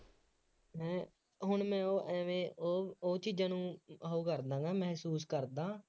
ਹੂੰ ਹੁਣ ਮੈਂ ਉਹ ਐਵੇਂ ਉਹ ਉਹ ਚ ਜਦੋਂ ਉਹ ਕਰਦਾ ਵਾਂ ਮਹਿਸੂਸ ਕਰਦਾਂ,